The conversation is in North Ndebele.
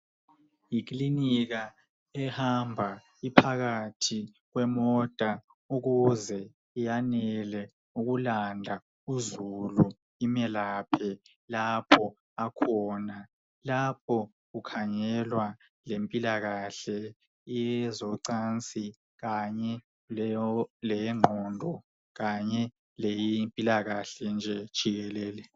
Ikilinika ehamba iphakathi kwemota ukuze yanele ukulanda uzulu imelaphe lapho akhona .Lapho kukhangelwa ngempilalahle yezocansi kanye leyengqondo kanye leye mpilakahle nje jikelele.